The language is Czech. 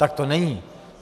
Tak to není.